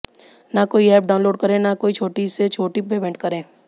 ना कोई app download करें ना कोई छोटी से छोटी पेमेंट करें